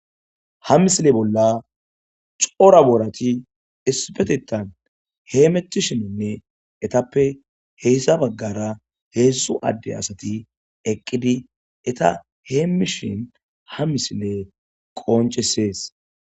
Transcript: ha misile bolla cora boorati ispetetan heemettishininne etappe heyssa baggara heessu adde asati eqqidi eta hee mishin ha misile qoncesees.